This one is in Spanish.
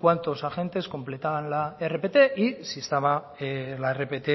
cuántos agentes completaban la rpt y si estaba la rpt